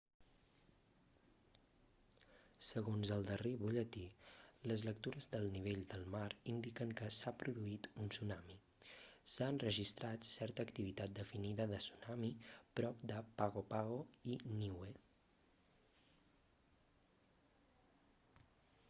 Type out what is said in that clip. segons el darrer butlletí les lectures del nivell del mar indiquen que s'ha produït un tsunami s'ha enregistrat certa activitat definida de tsunami prop de pago pago i niue